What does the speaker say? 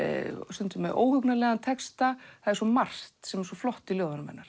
stundum með óhugnanlegan texta það er svo margt sem er svo flott í ljóðunum hennar